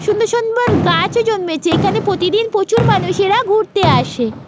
সুন্দর সুন্দর গাছ জন্মেছে এখানে প্রতিদিন প্রচুর মানুষেরা ঘুরতে আসে।